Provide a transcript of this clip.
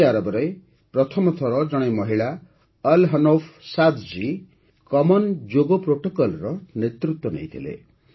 Saudi ଆରବରେ ପ୍ରଥମ ଥର ଜଣେ ମହିଳା Al Hanouf Saad ji common ଯୋଗ ପ୍ରୋଟୋକଲ୍ର ନେତୃତ୍ୱ ନେଇଥିଲେ